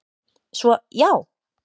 Svo, já!